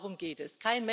Nur darum geht es.